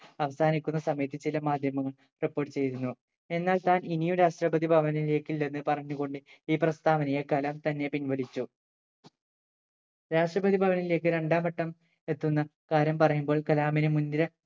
അവസാനിക്കുന്ന സമയത്ത് ചില മാധ്യമങ്ങൾ report ചെയ്തിരുന്നു എന്നാൽ താൻ ഇനി ഒരു രാഷ്‌ട്രപതി ഭവാനിലേക്കില്ല എന്ന് പറഞ്ഞു കൊണ്ട് ഈ പ്രസ്താവനയെ കലാം തന്നെ പിൻവലിച്ചു രാഷ്‌ട്രപതി ഭവനിലേക്ക് രണ്ടാം വട്ടം എത്തുന്ന കാര്യം പറയുമ്പോൾ കലാമിന് മുൻ നിര